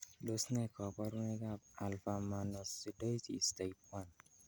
Tos nee koborunoikab Alpha mannosidosis type 1?